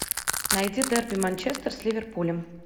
найти дерби манчестер с ливерпулем